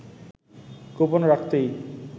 গোপন রাখতেই